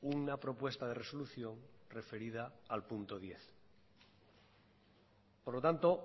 una propuesta de resolución referida al punto diez por lo tanto